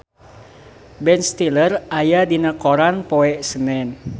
Ben Stiller aya dina koran poe Senen